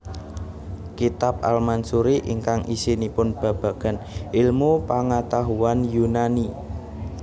Kitab al Mansuri ingkang isinipun babagan ilmu pangatahuan Yunani